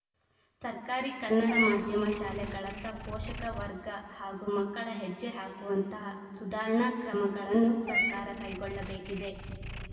ಸರ್ಕಾರಿ ಕನ್ನಡ ಮಾಧ್ಯಮ ಶಾಲೆಗಳತ್ತ ಪೋಷಕ ವರ್ಗ ಹಾಗೂ ಮಕ್ಕಳ ಹೆಜ್ಜೆ ಹಾಕುವಂತಹ ಸುಧಾರಣಾ ಕ್ರಮಗಳನ್ನು ಸರ್ಕಾರ ಕೈಗೊಳ್ಳಬೇಕಿದೆ